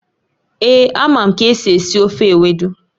Èé, amam ka esi esi ofe Ewedu